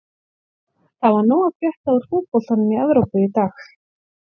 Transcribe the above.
Það var nóg að frétta úr fótboltanum í Evrópu í dag.